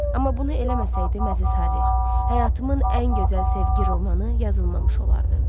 Amma bunu eləməsəydim əziz Harry, həyatımın ən gözəl sevgi romanı yazılmamış olardı.